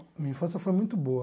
Minha infância foi muito boa.